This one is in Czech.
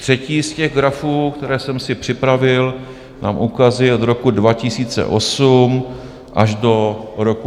Třetí z těch grafů, které jsem si připravil, nám ukazuje od roku 2008 až do roku 2025 výdaje na obranu.